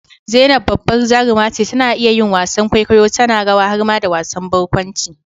zainab babbar jaruma ce, tana iya yin wasan kwaikwayo, tana rawa har ma da wasan barkwanci